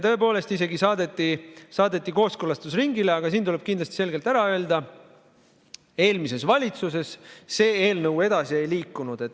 Tõepoolest see saadeti isegi kooskõlastusringile, aga siin tuleb kindlasti selgelt ära öelda: eelmises valitsuses see eelnõu edasi ei liikunud.